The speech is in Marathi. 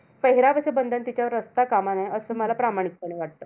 पेहेरावाचं बंधन तिच्यावर असता कामा नये, असं मला प्रामाणिकपणे वाटतं.